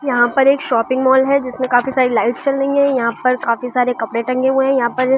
यहां पर एक शॉपिंग मॉल है जिसमें काफी सारी लाइट्स जल रही हैं यहां पर काफी सारे कपड़े टंगे हुए हैं यहां पर--